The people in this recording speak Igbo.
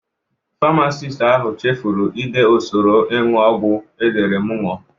Famasist ahụ cheforo i de usoro ịñụ ọgwọ ndị edere m ịñụ.